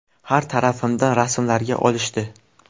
Har tarafimdan rasmlarga olishdi.